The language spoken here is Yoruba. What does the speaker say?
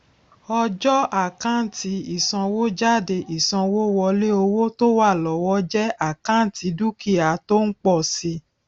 ọjọ àkántì ìsanwójáde ìsanwówọlé owó tó wà lọwọ jẹ àkántì dúkìá tó ń pọ si